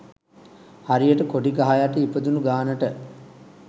හරියට කොඩි ගහ යට ඉපදුන ගානට